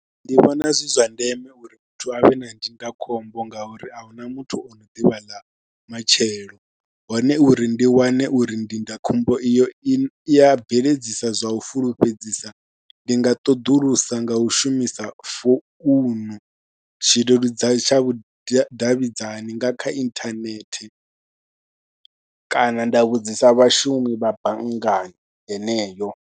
Ndi vhona zwi zwa ndeme uri muthu a vhe na ndindakhombo ngauri a hu na muthu o no ḓivha ḽa matshelo hone uri ndi wane uri ndindakhombo iyo i ya bveledzisa zwa u fulufhedzisa ndi nga ṱoḓulusa nga u shumisa founu tshileludzi tsha vhudavhidzani nga kha inthanethe kana nda vhudzisa vhashumi vha banngani heneyo.